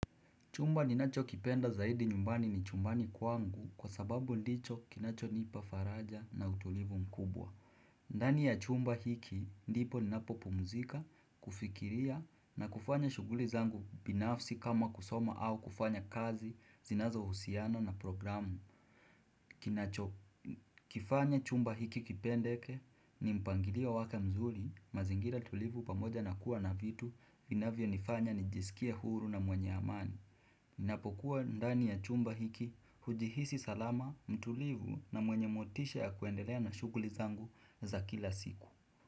Chumba ninachokipenda zaidi nyumbani ni chumbani kwangu kwa sababu ndicho kinachonipa faraja na utulivu mkubwa. Ndani ya chumba hiki, ndipo ninapopumzika, kufikiria na kufanya shughuli zangu binafsi kama kusoma au kufanya kazi, zinazohusiano na programu. Kifanya chumba hiki kipendeke, ni mpangilio wake mzuri, mazingira tulivu pamoja na kuwa na vitu vinavyonifanya nijisikie huru na mwenye amani. Ninapokuwa ndani ya chumba hiki, hujihisi salama, mtulivu na mwenye motisha ya kuendelea na shughuli zangu za kila siku.